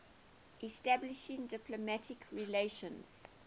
establishing diplomatic relations